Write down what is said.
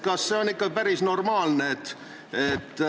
Kas see on ikka päris normaalne?